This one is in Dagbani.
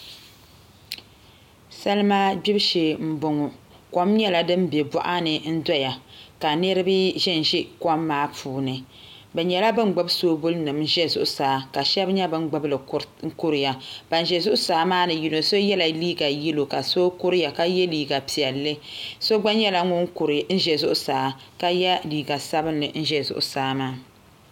Salima gbibu shee n boŋo kom nyɛla din bɛ boɣa ni n doya ka niraba ʒɛnʒɛ kom maa puuni bi nyɛla bin gbubi soobuli nim ʒɛ zuɣusaa ka shab nyɛ bin gbubili kuriya Ban ʒɛ zuɣusaa maa ni yino so yɛla liiga yɛlo ka so ka kuriya ka yɛ liiga piɛlli so gba nyɛla ŋun kuri zuɣusaa ka yɛ liiga sabinli n kuri zuɣusaa maa